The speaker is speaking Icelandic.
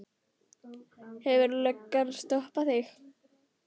Hefur löggan stoppað þig?